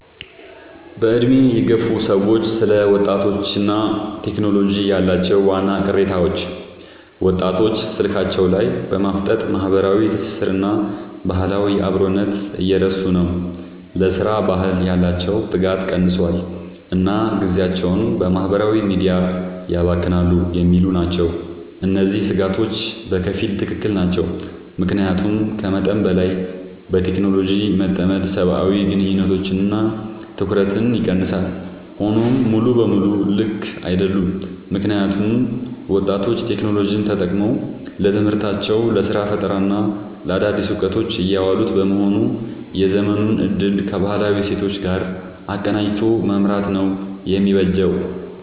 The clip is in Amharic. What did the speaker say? በዕድሜ የገፉ ሰዎች ስለ ወጣቶችና ቴክኖሎጂ ያላቸው ዋና ቅሬታዎች፦ ወጣቶች ስልካቸው ላይ በማፍጠጥ ማህበራዊ ትስስርንና ባህላዊ አብሮነትን እየረሱ ነው: ለሥራ ባህል ያላቸው ትጋት ቀንሷል: እና ጊዜያቸውን በማህበራዊ ሚዲያ ያባክናሉ የሚሉ ናቸው። እነዚህ ስጋቶች በከፊል ትክክል ናቸው። ምክንያቱም ከመጠን በላይ በቴክኖሎጂ መጠመድ ሰብአዊ ግንኙነቶችንና ትኩረትን ይቀንሳል። ሆኖም ሙሉ በሙሉ ልክ አይደሉም: ምክንያቱም ወጣቶች ቴክኖሎጂን ተጠቅመው ለትምህርታቸው: ለስራ ፈጠራና ለአዳዲስ እውቀቶች እያዋሉት በመሆኑ የዘመኑን እድል ከባህላዊ እሴቶች ጋር አቀናጅቶ መምራት ነው የሚበጀው።